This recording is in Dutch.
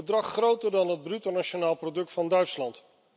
Een bedrag groter dan het bruto nationaal product van Duitsland.